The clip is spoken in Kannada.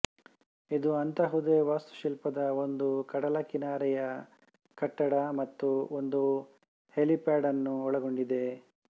ಇದು ಅಂತಹುದೇ ವಾಸ್ತುಶಿಲ್ಪದ ಒಂದು ಕಡಲಕಿನಾರೆಯ ಕಟ್ಟಡ ಮತ್ತು ಒಂದು ಹೆಲಿಪ್ಯಾಡ್ಅನ್ನೂ ಒಳಗೊಂಡಿದೆ